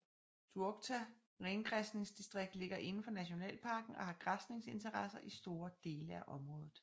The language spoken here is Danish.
Duokta rengræsningsdistrikt ligger indenfor nationalparken og har græsningsinteresser i store deler af området